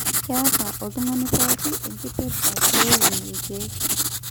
keeta oltung'ani pooki enkipirta pee eun ilkeek